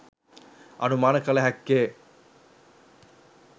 අනුමාන කළ හැක්කේ